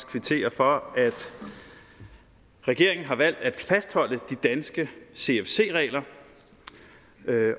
kvittere for at regeringen har valgt at fastholde de danske cfc regler